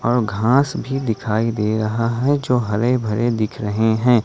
घास भी दिखाई दे रहा है जो हरे भरे दिख रहे हैं ।